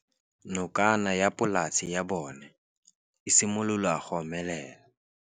Nokana ya polase ya bona, e simolola go omelela.